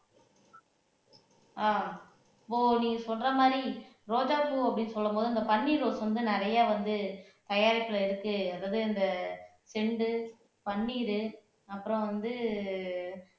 ஆஹ் நீ சொல்ற மாதிரி ரோஜாப்பூ அப்படின்னு சொல்லும் போது அந்த பன்னீர் ரோஸ் வந்து நிறையா வந்து தயாரிப்புல இருக்கு அதாவது இந்த செண்டு பன்னீரு அப்புறம் வந்து